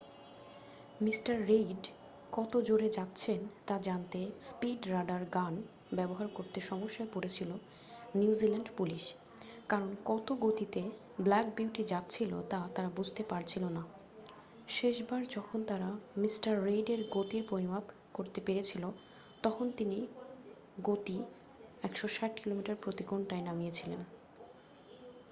mister Reid কত জোরে যাচ্ছেন তা জানতে স্পীড রাডার গান ব্যবহার করতে সমস্যায় পড়েছিল নিউ জিল্যান্ড পুলিশ কারণ কত গতিতে ব্ল্যাক বিউটি যাচ্ছিল তা তারা বুঝতে পারছিল না শেষবার যখন তারা মিস্টার রেইডের গতির পরিমাপ করতে পেরেছিল তখন তিনি গতি 160 কিমি প্রতি ঘন্টায় নামিয়েছিলেন